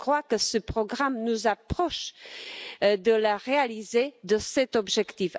Je crois que ce programme nous rapproche de la réalisation de cet objectif.